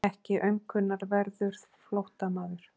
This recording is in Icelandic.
Ekki aumkunarverður flóttamaður.